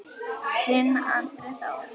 Þinn Andri Þór.